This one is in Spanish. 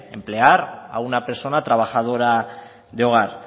emplear a una persona trabajadora de hogar